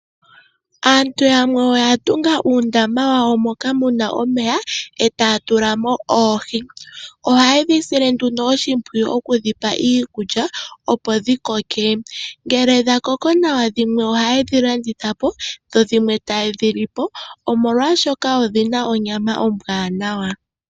Aantu yamwe oyatunga uundama wawo moka muna omeya etatulamo oohii, ohaye dhisile nduno oshipwiyu oku dhipa iikulya opo dhikoke, ngele dhakoko nawa dhimwe oha yedhilandithapo dho dhimwe tayedhilipo omolwa shoka odhina onyama ombwanawa.